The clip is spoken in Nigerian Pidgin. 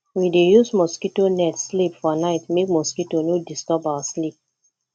we dey use mosquito net sleep for night make mosquito no disturb our sleep